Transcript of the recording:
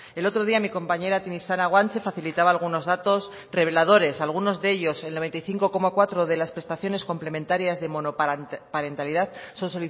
el otro día mi compañera tinixara guanche facilitaba algunos datos reveladores algunos de ellos el noventa y cinco coma cuatro de las prestaciones complementarias de monoparentalidad son